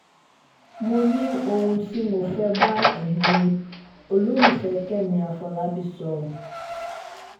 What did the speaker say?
mo ní ohun um tí mo máa bá ẹ̀yin um olólùfẹ́ kẹ́mi àfọlábí sọ